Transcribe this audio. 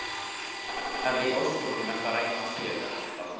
Hvað í ósköpunum ertu að reyna að segja, Jakob Dalmann?